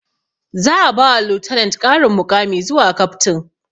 Za a ba wa lieutenant ƙarin muƙami zuwa captain